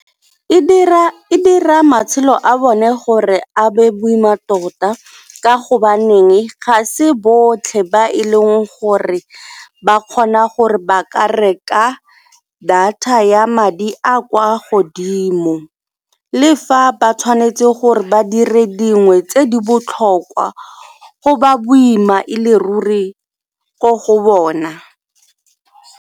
E dira matshelo a bone gore a be boima tota ka gobaneng ga se botlhe ba e leng gore ba kgona gore ba ka reka data a ya madi a a kwa godimo. Le fa ba tshwanetse gore ba dire dingwe tse di botlhokwa go ba boima e le ruri ko go bona.